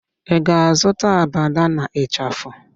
Ị ga-azụta abada na ịchafụ?